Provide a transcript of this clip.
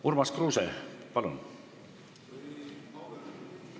Urmas Kruuse, palun!